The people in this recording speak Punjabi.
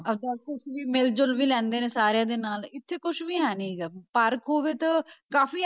ਅੱਛਾ ਆਪਸ 'ਚ ਵੀ ਮਿਲ-ਜੁਲ ਵੀ ਲੈਂਦੇ ਨੇ ਸਾਰਿਆਂ ਦੇ ਨਾਲ, ਇੱਥੇ ਕੁਛ ਵੀ ਹੈ ਨੀ ਗਾ park ਹੋਵੇ ਤਾਂ ਕਾਫ਼ੀ